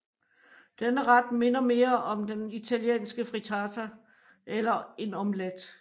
Denne ret minder mere om den italienske frittata eller en omelet